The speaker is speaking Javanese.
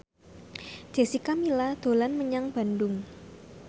Jessica Milla dolan menyang Bandung